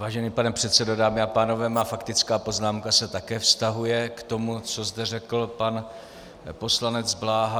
Vážený pane předsedo, dámy a pánové, má faktická poznámka se také vztahuje k tomu, co zde řekl pan poslanec Bláha.